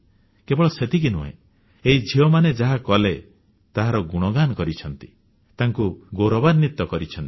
କେବଳ ସେତିକି ନୁହେଁ ଏହି ଝିଅମାନେ ଯାହା କଲେ ତାହାର ଗୁଣଗାନ କରିଛନ୍ତି ତାଙ୍କୁ ଗୌରବାନ୍ୱିତ କରିଛନ୍ତି